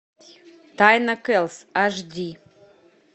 тайна келлс аш ди